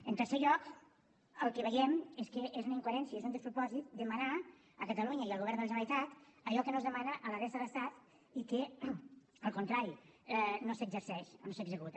en tercer lloc el que veiem és que és una incoherència és un despropòsit demanar a catalunya i al govern de la generalitat allò que no es demana a la resta de l’estat i que al contrari no s’exerceix o no s’executa